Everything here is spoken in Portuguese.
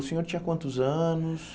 O senhor tinha quantos anos?